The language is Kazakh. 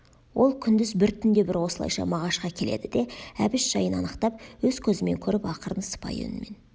ол күндіз бір түнде бір осылайша мағашқа келеді де әбіш жайын анықтап өз көзімен көріп ақырын сыпайы үнмен